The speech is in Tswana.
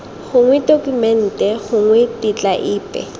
gongwe tokumente gongwe tetla epe